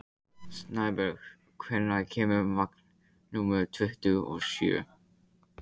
Snæbjörg, hvenær kemur vagn númer tuttugu og sjö?